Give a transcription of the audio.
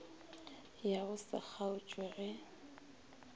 ya go se kgaotše ge